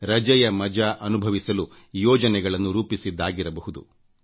ರಜೆಯ ಮಜ ಅನುಭವಿಸಲು ಯೋಜನೆಗಳನ್ನು ರೂಪಿಸಿದ್ದಾಗಿರಬಹುದು